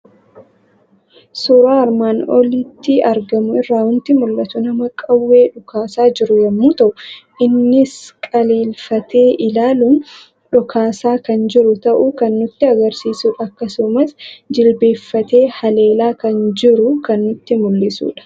Suuraa armaan olitti argamu irraa waanti mul'atu; nama Qawwee dhokaasaa jiru yommuu ta'u, innis qaleelfatee ilaaluun dhokaasa kan jiru ta'uu kan nutti agarsiisudha. Akkasumas jilbeeffatee haleelaa kan jiru kan nutti mul'isudha.